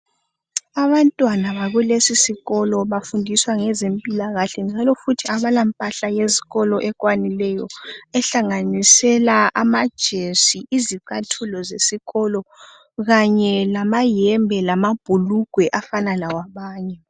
Abantwana bakulesi sikolo bafundiswa ngokwezimpilakahle njalo futhi abala mpahla yesikolo ekwanileyo ehlanganisela amajesi, izicathulo zesikolo kanye lamayembe lamabhulugwe afanana lawabanye.